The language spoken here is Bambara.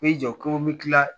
jɔ ko n bɛ kila